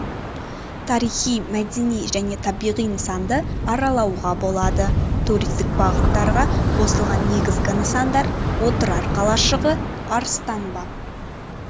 тарихи-мәдени және табиғи нысанды аралауға болады туристік бағыттарға қосылған негізгі нысандар отырар қалашығы арыстан баб